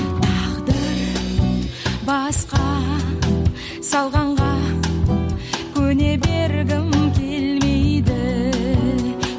тағдыр басқа салғанға көне бергім келмейді